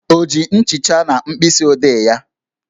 O ji nchicha na mkpịsị odee ya?